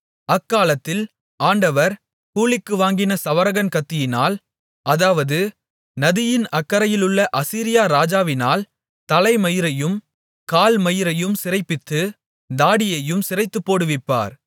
அக்காலத்தில் ஆண்டவர் கூலிக்கு வாங்கின சவரகன் கத்தியினால் அதாவது நதியின் அக்கரையிலுள்ள அசீரியா ராஜாவினால் தலைமயிரையும் கால்மயிரையும் சிரைப்பித்து தாடியையும் சிரைத்துப்போடுவிப்பார்